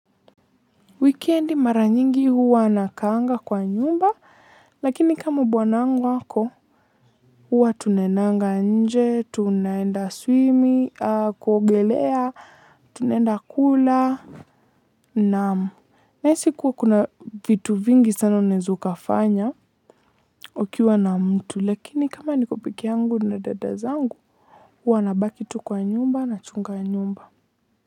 Wukendi mara nyingi huwa nakaanga kwa nyumba, lakini kama bwanangu ako, huwa tunaendanga nje, tunaenda swimming, kuogelea, tunaenda kula, naam. Nahisi kuwa kuna vitu vingi sana unaweza ukafanya ukiwa na mtu, lakini kama nikopekee yangu na dadazangu, huwa nabaki tu kwa nyumba nachunga nyumba.